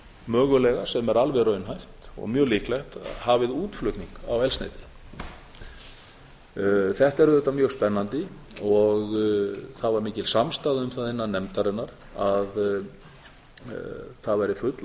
mögulega sem er alveg raunhæft og mjög líklegt hafið útflutning á eldsneyti þetta er auðvitað mjög spennandi og það var mikil samstaða um það innan nefndarinnar að það væri full